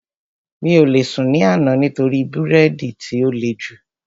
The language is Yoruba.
Mi ò lè sùn ní àná nítorí bírèèdì tí ó le jù